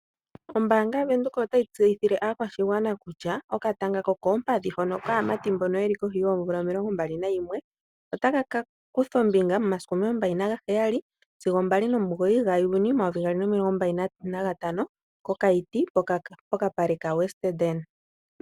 Oombanga yaVenduka otayi tseyithile aakwashigwana kutya okatanga kokoompadhi hono kaamati mboka yeli koshi yoomvula omilongo mbali nayimwe otaka ka kutha ombinga momasiku omilongo mbali naheyali sigo mbali nomugoyi gajuni omayovi gali nomilongo mbali nantano mokaiti pokapale kaWestedene.